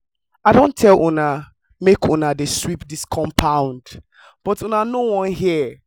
i don tell una make una dey sweep dis compound but una no wan hear